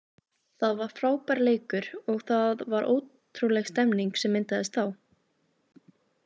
Það var frábær leikur og það var ótrúleg stemning sem myndaðist þá.